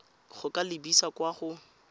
go ka lebisa kwa go